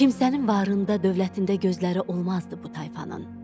Kimsənin varında, dövlətində gözləri olmazdı bu tayfanın.